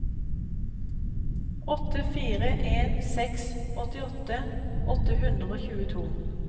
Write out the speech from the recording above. åtte fire en seks åttiåtte åtte hundre og tjueto